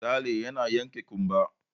Sale yana yanke ƙumba.